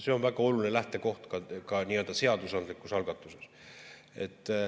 See on väga oluline lähtekoht ka seadusandlikus algatuses.